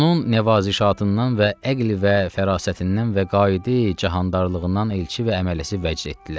Onun nəvazişatından və əql və fərasətindən və qaid-i cəhandarlığından elçi və əmələsi vəcd etdilər.